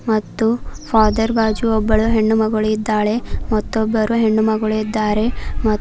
ಮತ್ತು ಫಾದರ್ ಬಾಜು ಒಬ್ಬಳು ಹೆಣ್ಣು ಮಗಳು ಇದ್ದಾಳೆ ಮತ್ತೊಬ್ಬರು ಹೆಣ್ಣು ಮಗಳು ಇದ್ದಾರೆ.